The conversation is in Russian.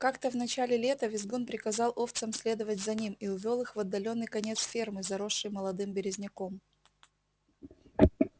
как-то в начале лета визгун приказал овцам следовать за ним и увёл их в отдалённый конец фермы заросший молодым березняком